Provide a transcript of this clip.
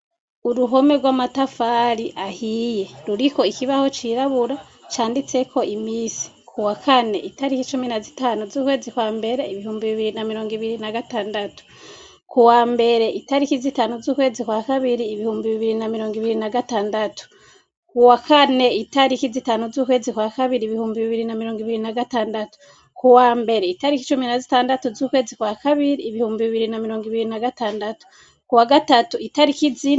Uruhome rw'amatafari ahiye ruriko ikibaho cirabura canditseko imisi ku wa kane itariki icumi na zitanu z'ukwezi kwa mbere ibihumbi bibiri na mirongo ibiri na gatandatu ku wa mbere itariki zitanu z'ukwezi kwa kabiri ibihumbi bibiri na mirongo ibiri na gatandatu kuwa kane itariki zitanu z'ukwe zikwa kabiri ibihumbi bibiri na mirongo ibiri na gatandatu ku wa mbere itariko icumi na zitandatu z'ukwezi kwa kabiri ibihumbi bibiri na mirongo ibiri na gatandatu kuwa gatatu itarikizi.